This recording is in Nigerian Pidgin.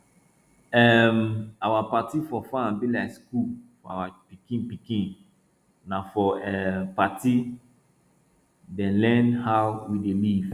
um our party for farm be like school for our pikin pikin na for um party dem learn how we dey live